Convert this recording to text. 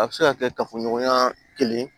A bɛ se ka kɛ kafoɲɔgɔnya kelen